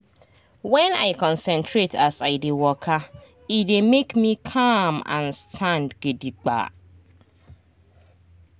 when i concentrate as i dey waka e dey make me calm and stand gidigba.